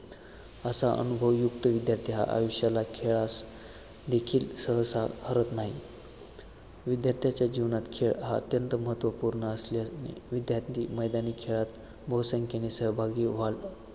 असा अनुभवयुक्त विद्यार्थी हा आयुष्याला खेळास देखील सहसा हरत नाही विद्यार्थ्यांच्या जीवनात खेळ हा अत्यंत महत्वपूर्ण असल्याने विद्यार्थी मैदानी खेळात बहुसंख्येने सहभागी घेऊन